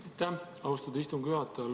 Aitäh, austatud istungi juhataja!